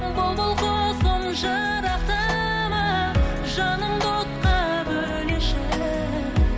бұлбұл құсым жырақтама жанымды отқа бөлеші